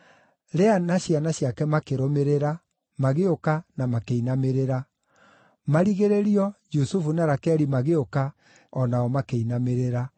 Lea na ciana ciake makĩrũmĩrĩra, magĩũka na makĩinamĩrĩra. Marigĩrĩrio, Jusufu na Rakeli magĩũka, o nao makĩinamĩrĩra.